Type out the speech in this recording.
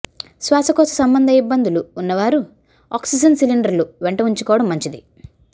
శ్వాసకోశ సంబంధ యిబ్బందులు వున్నవారు ఆక్సిజన్ సిలిండర్లు వెంట వుంచుకోవడం మంచిది